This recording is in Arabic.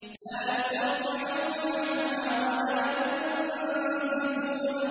لَّا يُصَدَّعُونَ عَنْهَا وَلَا يُنزِفُونَ